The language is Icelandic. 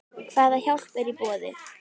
Hvað hjálp er í boði?